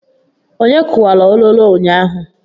Onye kuwara ololo ụnyaahụ?